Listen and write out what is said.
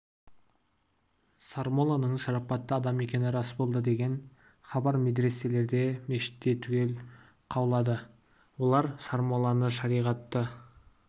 сармолланың шарапатты адам екені рас болды деген хабар медреселерде мешітте түгел қаулады олар сармолланы шариғаты